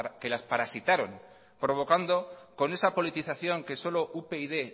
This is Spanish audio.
que las parasitaron provocando con esa politización que solo upyd